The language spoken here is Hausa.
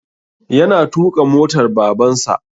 Yana tuƙa motar Babansa.